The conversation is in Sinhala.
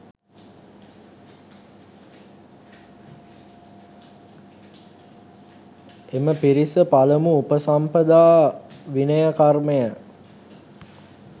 එම පිරිස පළමු උපසම්පදා විනය කර්මය